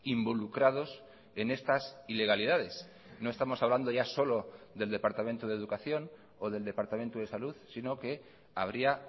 involucrados en estas ilegalidades no estamos hablando ya solo del departamento de educación o del departamento de salud sino que habría